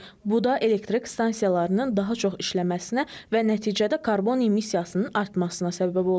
Bu da elektrik stansiyalarının daha çox işləməsinə və nəticədə karbon emissiyasının artmasına səbəb olur.